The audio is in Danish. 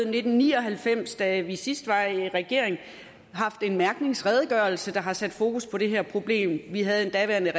nitten ni og halvfems da vi sidst var i regering havde en mærkningsredegørelse der har sat fokus på det her problem vi havde den daværende